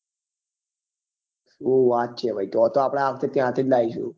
શું વાત છે ભાઈ તો તો આપડે ત્યાંથી જ લાવીસું થી